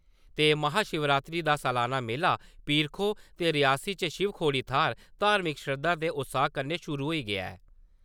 महाशिवरात्री दा सलाना मेला, पीर-खोह् ते रियासी च शिवखोड़ी थ्हार, धार्मिक शरदा ते उत्साह् कन्नै शुरू होई गेआ ऐ ।